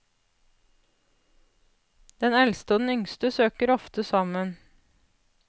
Den eldste og den yngste søker ofte sammen.